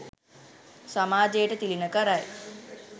සමාජයට තිළිණ කරයි.